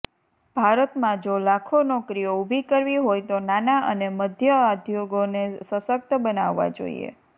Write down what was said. ભારતમાં જો લાખો નોકરીઓ ઊભી કરવી હોય તો નાના અને મધ્ય ઉદ્યોગોને સશક્ત બનાવવા જોઈએ